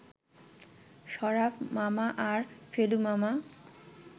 শরাফ মামা আর ফেলু মামা